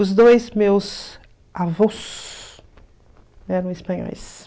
Os dois meus avôs eram espanhóis.